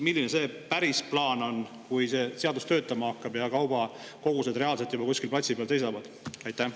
Milline see päris plaan on, kui see seadus töötama hakkab ja kaubakogused juba reaalselt kuskil platsi peal seisavad?